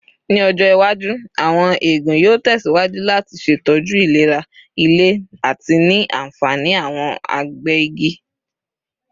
Ni ọjọ iwaju, awọn eegun yoo tẹsiwaju lati ṣetọju ilera ile ati ni anfani awọn agbẹ igi.